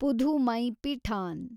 Pudhumaipithan